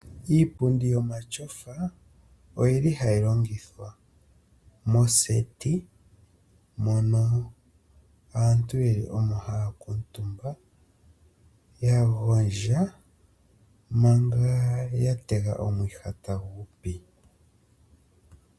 Iipundi yomatyofa oyili hayi longithwa moseti mono aantu yeli omo haya kuutumba ya gondja manga ya tega omwiha tagupi.